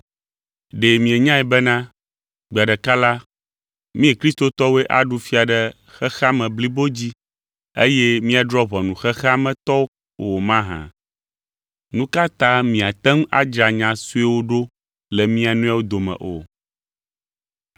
Ɖe mienyae bena, gbe ɖeka la, mí kristotɔwoe aɖu fia ɖe xexea me blibo dzi, eye míadrɔ̃ ʋɔnu xexea me tɔwo o mahã? Nu ka ta miate ŋu adzra nya suewo ɖo le mia nɔewo dome o?